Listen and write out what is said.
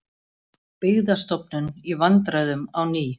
Byggðastofnun í vandræðum á ný